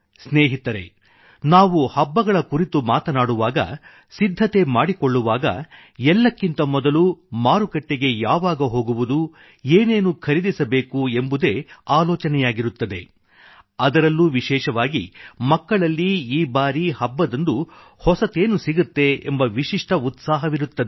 ಸ್ನೇಹಿತರೇ ನಾವು ಹಬ್ಬಗಳ ಕುರಿತು ಮಾತನಾಡುವಾಗ ಸಿದ್ಧತೆ ಮಾಡಿಕೊಳ್ಳುವಾಗ ಎಲ್ಲಕ್ಕಿಂತ ಮೊದಲು ಮಾರುಕಟ್ಟೆಗೆ ಯಾವಾಗ ಹೋಗುವುದು ಏನೇನು ಖರೀದಿಸಬೇಕು ಎಂಬುದೇ ಆಲೋಚನೆಯಾಗಿರುತ್ತದೆ ಅದರಲ್ಲೂ ವಿಶೇಷವಾಗಿ ಮಕ್ಕಳಲ್ಲಿ ಈ ಬಾರಿ ಹಬ್ಬದಂದು ಹೊಸತೇನು ಸಿಗತ್ತೆ ಎಂಬ ವಿಶಿಷ್ಟ ಉತ್ಸಾಹವಿರುತ್ತದೆ